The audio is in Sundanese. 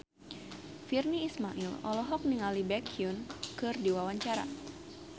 Virnie Ismail olohok ningali Baekhyun keur diwawancara